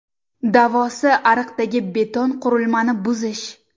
Davosi ariqdagi beton-qurilmani buzish.